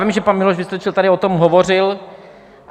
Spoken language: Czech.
Vím, že pan Miloš Vystrčil tady o tom hovořil.